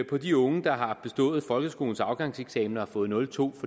de unge der har bestået folkeskolens afgangseksamen og har fået nul to